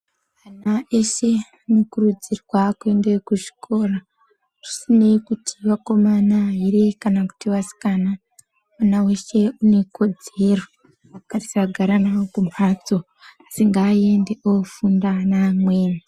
Ana eshe anokurudzirwe kuenda kuzvikora zvisinei kuti vakomana ere kana kuti vasikana. Mwana veshe unekodzero ngatisagara navo kumhatso asi ngaaende ofunda neamweni.